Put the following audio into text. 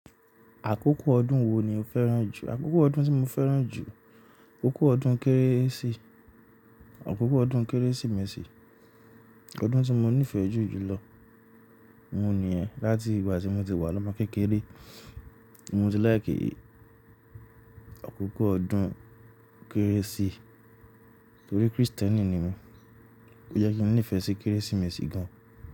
Àkókò ọdún wo ni o fẹ́ràn jù? Àkókò ọdún tí mo fẹ́ràn jù, akoko ọdún Kérésì, akoko ọdún Kérésìmesì. Ọdún tí mo nífẹ̀ẹ́ jù jùlọ, oun nìyẹn. Látì ìgbà tí mo ti wà ni omo kékeré. Mo ti láì kí akoko ọdún Kérésì torí Kristẹni ni mi. Ó jẹ́ kí n ní ìfẹ́ sí Kérésìmesì gan.